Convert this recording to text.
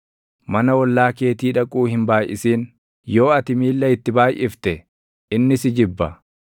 Mana ollaa keetii dhaquu hin baayʼisin; yoo ati miilla itti baayʼifte inni si jibba.